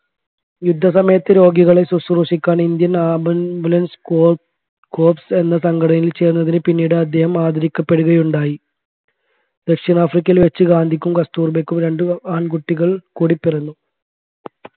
യുദ്ധസമയത്ത് രോഗികളെ ശ്രുശ്രൂഷിക്കാൻ indian ambulance corpes എന്ന സംഘടനയിൽ ചേരുന്നതിന് പിന്നീട് അദ്ദേഹം ആദരിക്കപ്പെടുകയുണ്ടായി ദക്ഷിണാഫ്രിക്കയിൽ വച്ചു ഗാന്ധിക്കും കസ്തൂർബായ്ക്കും രണ്ട് ആൺകുട്ടികൾ കൂടി പിറന്നു